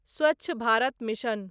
Swachh Bharat mission